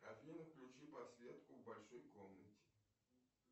афина включи подсветку в большой комнате